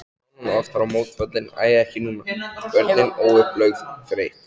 Konan oftar mótfallin, æ ekki núna, börnin, óupplögð, þreytt.